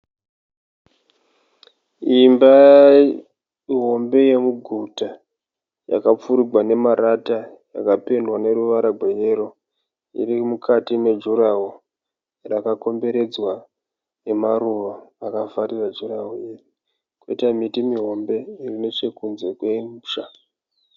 Imba hombe yomuguta yakapfurigwa nemarata ikapendwa noruvara gweyero, iri mukati medhurahoro rakakomberedzwa nemaruva akavharira dhurahoro iri. Poita miti mihombe iri nechokunze kwomusha.